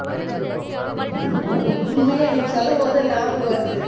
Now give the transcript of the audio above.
உண்மையா நீ சொல்லும் போதுதான் ஞாபகம் வருது